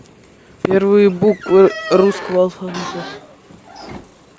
первые буквы русского алфавита